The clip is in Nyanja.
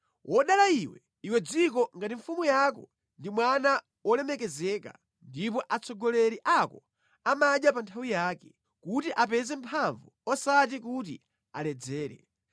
Wodala iwe, iwe dziko ngati mfumu yako ndi mwana wolemekezeka ndipo atsogoleri ako amadya pa nthawi yake, kuti apeze mphamvu osati kuti aledzere.